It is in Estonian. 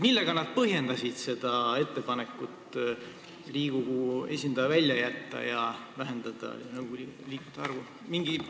Millega nad põhjendasid ettepanekut Riigikogu esindaja välja jätta ja vähendada nõukogu liikmete arvu?